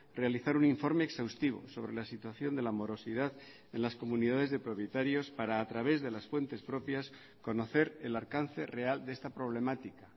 realizar un informe exhaustivo sobre la situación de la morosidad en las comunidades de propietarios para a través de las fuentes propias conocer el alcance real de esta problemática